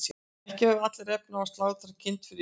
ekki höfðu allir efni á að slátra kind fyrir jólin